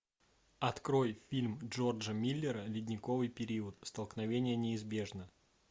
открой фильм джорджа миллера ледниковый период столкновение неизбежно